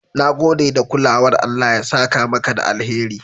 Na gode da kulawar, Allah ya saka maka da alheri"